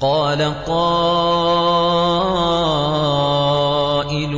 قَالَ قَائِلٌ